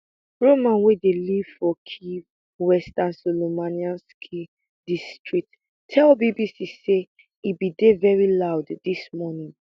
roman wey dey live for kyiv western solomianskyi district tell bbc say e bin dey veri loud dis morning